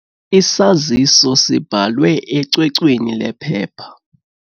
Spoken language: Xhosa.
Isaziso sibhalwe ecwecweni lephepha.